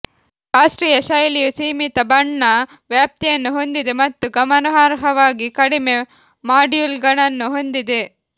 ಶಾಸ್ತ್ರೀಯ ಶೈಲಿಯು ಸೀಮಿತ ಬಣ್ಣ ವ್ಯಾಪ್ತಿಯನ್ನು ಹೊಂದಿದೆ ಮತ್ತು ಗಮನಾರ್ಹವಾಗಿ ಕಡಿಮೆ ಮಾಡ್ಯೂಲ್ಗಳನ್ನು ಹೊಂದಿದೆ